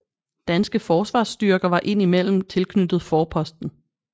Danske forsvarsstyrker var ind imellem tilknyttet forposten